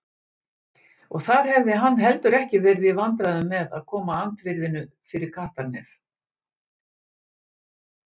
Og þar hefði hann heldur ekki verið í vandræðum með að koma andvirðinu fyrir kattarnef.